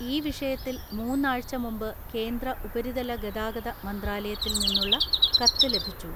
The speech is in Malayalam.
ഈ വിഷയത്തിൽ മൂന്നാഴ്ച മുമ്പ് കേന്ദ്ര ഉപരിതല ഗതാഗത മന്ത്രാലയത്തിൽ നിന്നുള്ള കത്ത് ലഭിച്ചു.